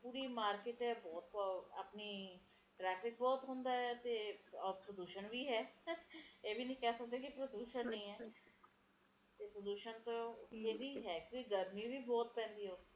ਹੁਣ ਲੋਕ ਚਾਉਂਦੇ ਆ ਕਿ ਸਾਨੂੰ ਇਧਰੋਂ ਵੀ ਸਹੂਲਤ ਮਿਲੇ ਤੇ ਓਧਰੋਂ ਵੀ ਮੌਸਮ ਵੀ ਵਧੀਆ ਰਹੇ ਤੇ ਇਹ ਦੋਨੋ ਚੀਜ਼ਾਂ ਇੱਕਠੀਆਂ ਨਹੀਂ ਹੋ ਸਕਦੀਆਂ ਨਾ ਸਰਕਾਰ ਵੀ ਕਿਥੋਂ ਤਕ ਕਰੇਗੀ ਉਹ ਹੁਣ ਤਰੱਕੀ ਦੇਖ਼ ਲੋਕ ਦੀ ਯਾ ਲੋਕਾਂ ਦੀ ਸਹੂਲਤ ਦੇਖ਼ ਦੋਨੋ ਚੀਜ਼ਾਂ ਇੱਕਠੀਆਂ ਨਹੀਂ